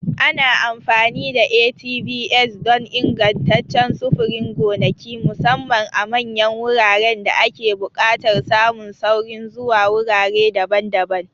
Ana amfani da ATVs don ingantaccen sufurin gonaki, musamman a manyan wuraren da ake buƙatar samun saurin zuwa wurare daban-daban.